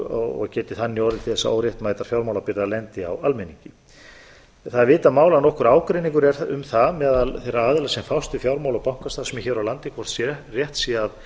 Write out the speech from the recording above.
og geti þannig orðið til þess að óréttmætar fjármálabyrðar lendi á almenningi það er vitað mál að nokkur ágreiningur er um það meðal þeirra aðila sem fást við fjármál og bankastarfsemi hér á landi hvort rétt sé að